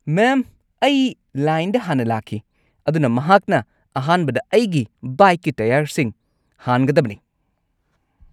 ꯃꯦꯝ, ꯑꯩ ꯂꯥꯏꯟꯗ ꯍꯥꯟꯅ ꯂꯥꯛꯈꯤ, ꯑꯗꯨꯅ ꯃꯍꯥꯛꯅ ꯑꯍꯥꯟꯕꯗ ꯑꯩꯒꯤ ꯕꯥꯏꯛꯀꯤ ꯇꯥꯌꯔꯁꯤꯡ ꯍꯥꯟꯒꯗꯕꯅꯤ꯫